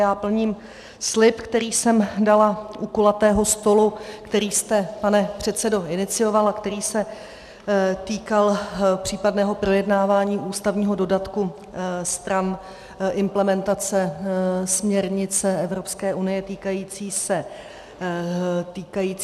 Já plním slib, který jsem dala u kulatého stolu, který jste, pane předsedo, inicioval a který se týkal případného projednávání ústavního dodatku stran implementace směrnice Evropské unie týkající se zbraní.